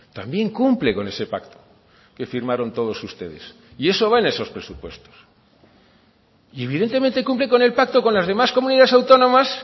también cumple con ese pacto que firmaron todos ustedes y eso va en esos presupuestos y evidentemente cumple con el pacto con las demás comunidades autónomas